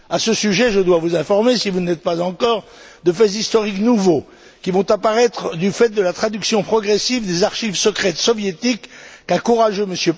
À ce sujet, je dois vous informer, si vous ne l'êtes pas encore, de faits historiques nouveaux, qui vont apparaître du fait de la traduction progressive des archives secrètes soviétiques qu'un courageux M.